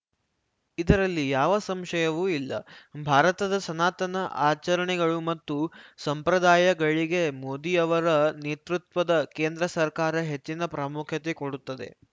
ಇದರಲ್ಲಿ ಯಾವ ಸಂಶಯವೂ ಇಲ್ಲ ಭಾರತದ ಸನಾತನ ಆಚರಣೆಗಳು ಮತ್ತು ಸಂಪ್ರದಾಯಗಳಿಗೆ ಮೋದಿಯವರ ನೇತೃತ್ವದ ಕೇಂದ್ರ ಸರ್ಕಾರ ಹೆಚ್ಚಿನ ಪ್ರಾಮುಖ್ಯತೆ ಕೊಡುತ್ತದೆ